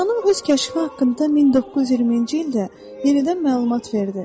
Astronom öz kəşfi haqqında 1920-ci ildə yenidən məlumat verdi.